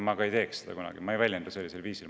Ma ei teeks seda kunagi, ma ei väljenda end sellisel viisil.